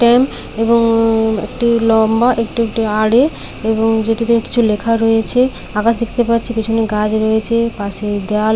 ট্যাম এবং একটি লম্বা একটু একটি আড়ে এবং যেটিতে কিছু লেখা রয়েছে আকাশ দেখতে পাচ্ছি পেছনে গাছ রয়েছে পাশে দেওয়াল।